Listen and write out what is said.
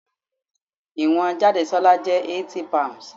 Ìwọ̀n Jadesola jẹ́ 80 pounds.